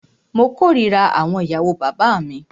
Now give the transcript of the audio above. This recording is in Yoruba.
Mó kòrira àwọn ìyàwó bàbá mí.